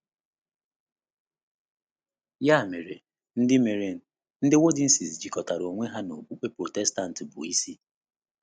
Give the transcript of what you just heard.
Ya mere, ndị mere, ndị Waldenses jikọtara onwe ha na okpukpe Protestant bụ́ isi.